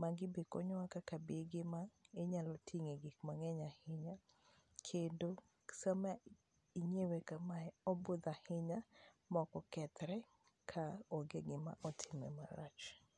magi e konyowa kaka bege ma inyalo tinge gik mang'eny ahinya kendo sama ing'iewe kamae obudo ahinya ma ok okethre ka ong'e gima otima marach.